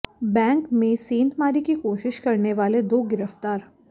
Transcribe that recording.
bank में सेंधमारी की कोशिश करने वाले दो गिरफ्तार